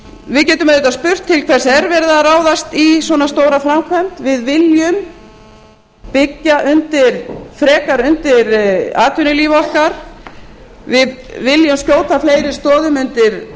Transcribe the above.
við getum auðvitað spurt til hvers er verið að ráðast í svona stóra framkvæmd við viljum byggja frekar undir atvinnulíf okkar við viljum skjóta fleiri stoðum undir